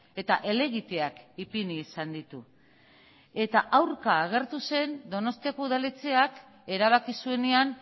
eta helegiteak ipini izan ditu eta aurka agertu zen donostiako udaletxeak erabaki zuenean